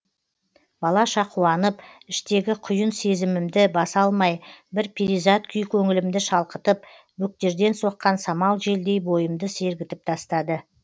балаша қуанып іштегі құйын сезімімді баса алмай бір перизат күй көңілімді шалқытып бөктерден соққан самал желдей бойымды сергітіп тастады